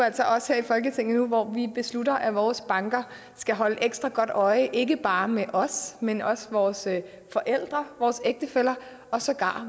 altså os her i folketinget nu hvor vi beslutter at vores banker skal holde ekstra godt øje ikke bare med os men også vores forældre vores ægtefæller og sågar